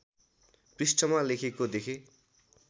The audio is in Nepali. पृष्ठमा लेखेको देखेँ